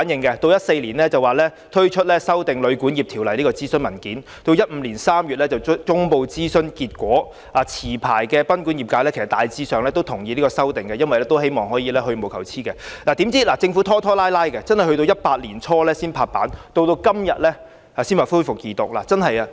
2014年，政府發出修訂《旅館業條例》的諮詢文件 ，2015 年3月公布諮詢結果，持牌賓館業界大致同意有關修訂，希望有關修訂能助業界去蕪存菁，可是，政府卻拖拖拉拉至2018年年初才拍板，到今天才恢復《條例草案》的二讀辯論。